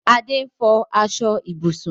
Adé n fọ aṣọ ibùsùn